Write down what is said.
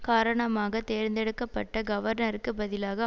காரணமாக தேர்ந்தெடுக்க பட்ட கவர்னருக்குப் பதிலாக